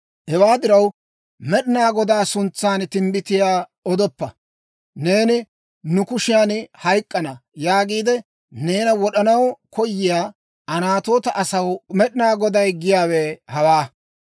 Hewaa diraw, «Med'inaa Godaa suntsan timbbitiyaa odoppa; neeni nu kushiyan hayk'k'ana» yaagiide, neena wod'anaw koyiyaa Anatoota asaw Med'inaa Goday giyaawe hawaa.